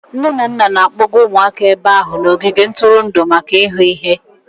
Nne na nna na-akpọga ụmụaka ebe ahụ n'ogige ntụrụndụ maka ịhụ ihe.